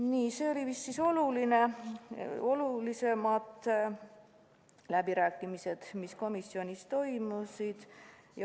Nii, see oli vist kõige olulisem, mis läbirääkimiste ajal komisjonis toimus.